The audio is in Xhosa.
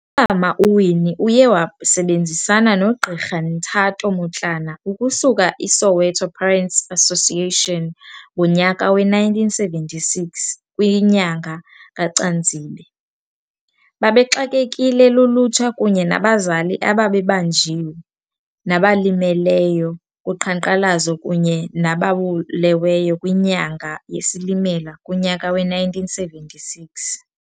Umama uWinnie uye wasebenzisana noGqirha Nthato Motlana ukusuka iSoweto Parents Association ngonyaka we-1976 kwinyanga kaCanzibe. Babexakekile lulutsha kunye nabazali ababebanjiwe, nabalimeleyo kuqhankqalazo kunye nababuleweyo kwinyanga yeSilimela kunyaka we-1976.